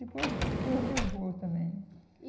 Depois Deus levou também. E